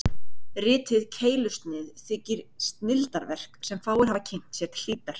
Ritið Keilusnið þykir snilldarverk, sem fáir hafa kynnt sér til hlítar.